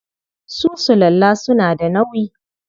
Su sulalla suna da nauyi.